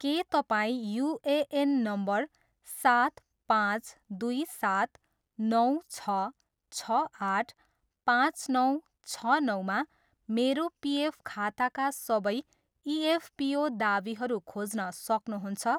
के तपाईँ UAN number सात पाँच दुई सात नौ छ छ आठ पाँच नौ छ नौमा मेरो पिएफ खाताका सबै इएफपिओ दावीहरू खोज्न सक्नुहुन्छ?